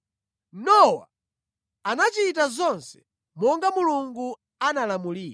Nowa anachita zonse monga Mulungu anamulamulira.